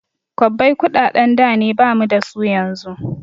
Kwabbai kuɗaɗen da ne bamu dasu yanzu